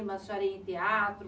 A senhora ia em teatro?